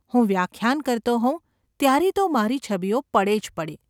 હું વ્યાખ્યાન કરતો હોઉં ત્યારે તો મારી છબીઓ પડે જ પડે.